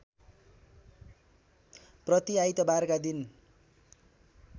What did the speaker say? प्रति आइतबारका दिन